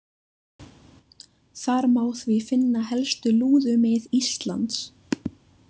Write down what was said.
Þar má því finna helstu lúðumið Íslands.